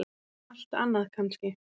Allt annað kannski.